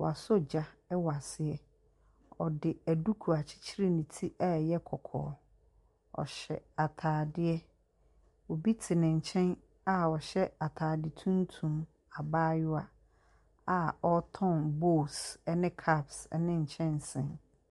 Wasɔ gya wɔ aseɛ. Ɔde aduku akyerekyere ne ti a ɛyɛ kɔkɔɔ. Ɔhyɛ ataadeɛ. Obi te ne nkyɛn a ɔhyɛ ataade tuntum. Abaayewa a ɔtɔn bowl, ne cups ne nkyɛnsee.